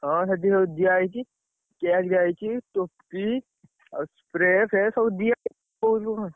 ହଁ ସେଠି ସବୁ ଦିଆହେଇଛି। cake ଦିଆହେଇଛି। ଟୋପି, ଆଉ, spray ଫ୍ରେ ସବୁ ଦିଆହେଇଛି କୋଉ ଦିନରୁ।